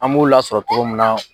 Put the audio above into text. An b'u lasɔrɔ togo min na